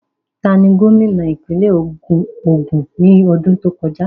Tani gómìnà ìpínlẹ̀ Ògùn ní ọdún tó kọjá?